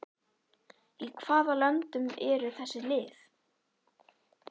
Í hvaða löndum eru þessi lið?